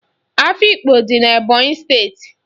Afikpo dị n'Ebọnyị steeti.